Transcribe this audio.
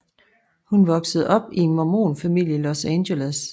Hun voksede op i en mormon familie i Los Angeles